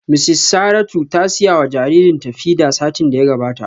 Mrs Saratu ta siya wa jaririna feeder satin da ya gabata